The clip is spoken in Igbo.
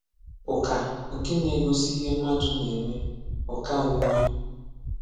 Ụ̀kà nkè nà-egosì ihè mmadụ̀ na-emè (ụ̀kàòmumè).